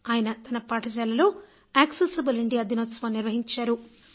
ఆయన తన పాఠశాలలో యాక్సెసబుల్ ఇండియా దినోత్సవం నిర్వహించారు